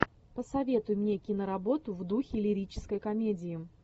посоветуй мне киноработу в духе лирической комедии